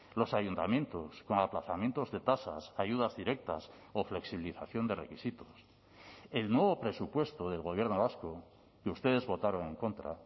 los ayuntamientos con aplazamientos de tasas ayudas directas o flexibilización de requisitos el nuevo presupuesto del gobierno vasco que ustedes votaron en contra